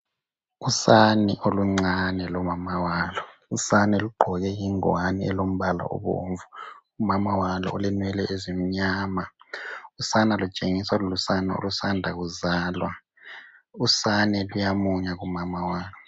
Usane oluncane lonina. Usane lugqoke ingowane elombala obomvu. Unina ulenwele ezimnyama. Usane lutshengisa lulusane olusanda kuzalwa. Usane luyamunya kunina.